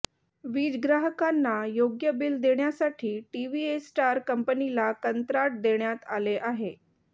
वीज ग्राहकांना योग्य बिल देण्यासाठी टीव्हीएस्टार कंपनीला कंत्राट देण्यात आले आहे